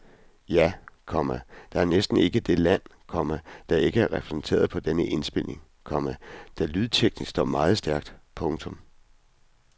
Ja, komma der er næsten ikke det land, komma der ikke er repræsenteret på denne indspilning, komma der lydteknisk står meget stærkt. punktum